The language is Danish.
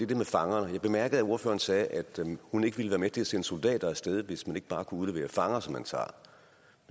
det med fangerne jeg bemærkede at ordføreren sagde at hun ikke ville være med til at sende soldater af sted hvis man ikke bare kunne udlevere fanger som man tager